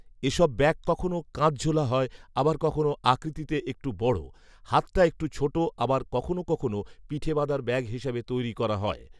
এসব ব্যাগ কখনও কাঁধঝোলা হয় আবার কখনও আকৃতিতে একটু বড়, হাতটা একটু ছোট আবার কখনও কখনও পিঠে বাঁধার ব্যাগ হিসেবে তৈরি করা হয়